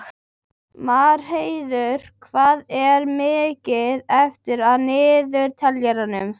Marheiður, hvað er mikið eftir af niðurteljaranum?